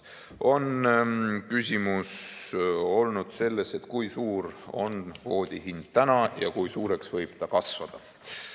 On olnud küsimus, kui suur on kvoodi hind täna ja kui suureks võib see kasvada.